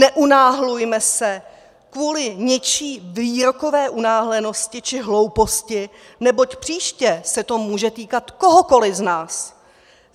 Neunáhlujme se kvůli něčí výrokové unáhlenosti či hlouposti, neboť příště se to může týkat kohokoliv z nás.